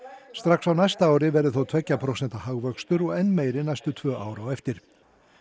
strax á næsta ári verði þó tveggja prósenta hagvöxtur og enn meiri næstu tvö ár á eftir